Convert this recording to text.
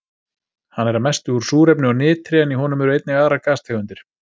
Hann er að mestu úr súrefni og nitri en í honum eru einnig aðrar gastegundir.